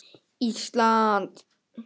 Ísland